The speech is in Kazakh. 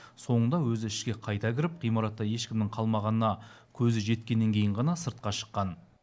соңында өзі ішке қайта кіріп ғимаратта ешкімнің қалмағанына көзі жеткеннен кейін ғана сыртқа шыққан